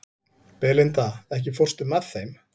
Belinda, ekki fórstu með þeim?